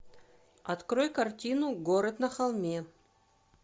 открой картину город на холме